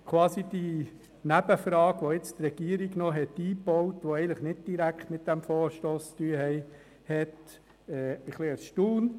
Die Nebenfrage, welche die Regierung zusätzlich eingebaut hat, und die eigentlich nicht direkt mit diesem Vorstoss zu tun hat, hat mich ein wenig erstaunt.